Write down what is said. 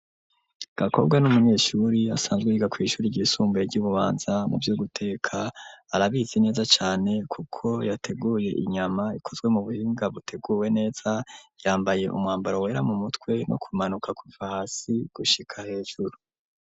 Gakobwa n'umunyeshuri asanzwe yiga kw'ishuri ry'isumbuye ryi Bubanza muvyo guteka arabizi neza cane kuko yateguye inyama ikozwe mu buhinga buteguwe neza yambaye umwambaro wera mu mutwe no ku manuka kuva hasi gushika hejuru.